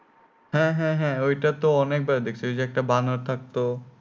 হ্যাঁ হ্যাঁ হ্যাঁ ঐটা তো অনেক বার দেখছি ঐযে একটা বানর থাকতো